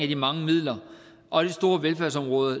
de mange midler og det store velfærdsområde